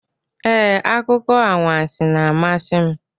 Ee, akụkọ anwansi na-amasị m.